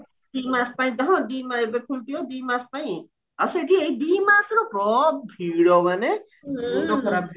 ଦି ମାସ ପାଇଁ ହଁ ଏବେ ଖୋଲିଥିବା ଦି ମାସ ପାଇଁ ଆଉ ସେଠି ଏଇ ଦି ମାସରେ ପ୍ର ଭିଡ ମାନେ